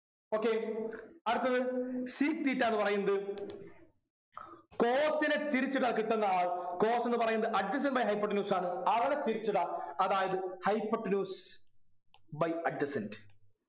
okay അടുത്തത് sec theta എന്ന് പറയുന്നത് cos നെ തിരിച്ചിട്ടാല്‍ കിട്ടുന്ന ആൾ cos എന്ന് പറയുന്നത് adjacent by hypotenuse ആണ് അവനെ തിരിച്ചിടാം അതായത് hypotenuse by adjacent